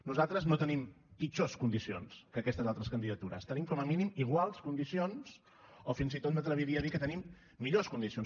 nosaltres no tenim pitjors condicions que aquestes altres candidatures tenim com a mínim iguals condicions o fins i tot m’atreviria a dir que tenim millors condicions